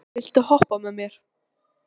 Maren, viltu hoppa með mér?